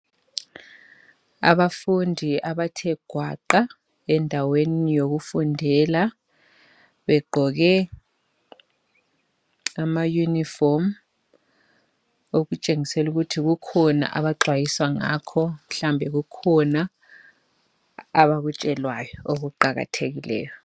Abafundi abathe gwaqa endaweni yokufundela begqoke amayunifomu okutshengiselukuthi kukhona abaxwayiswa ngakho mhlawumbe kukhona abakutshelwayo okuqakathekileyo.